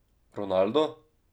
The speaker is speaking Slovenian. Ronaldo?